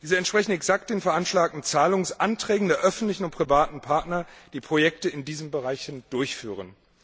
Diese entsprechen exakt den veranschlagten Zahlungsanträgen der öffentlichen und privaten Partner, die Projekte in diesen Bereichen durchführen.